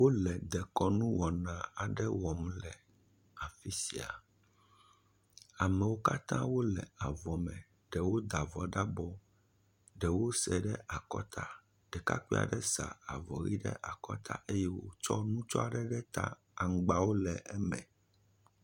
Wo le dekɔnu wɔna aɖe wɔm le afi sia. Amewo katã wole avɔ me. Ɖewo da avɔ ɖe abɔ, ɖewo sae ɖe akɔta. Ɖekakpui aɖea sa avɔ yi ɖe akɔta eye wotsɔ nutsɔ ɖe ta aŋgbawo le eme.